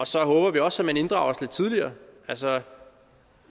så håber vi også at man inddrager os lidt tidligere altså